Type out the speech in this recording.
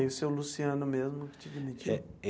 E aí o seu Luciano mesmo que te demitiu?